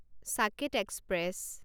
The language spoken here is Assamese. ছাকেট এক্সপ্ৰেছ